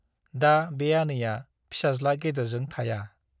दा बे आनैया फिसाज्ला गेदेरजों थाया ।